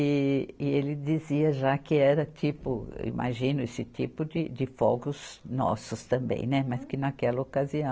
E, e ele dizia já que era tipo, imagino, esse tipo de fogos nossos também, né mas que naquela ocasião